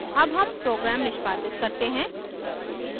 अब हम program निष्पादित करते हैं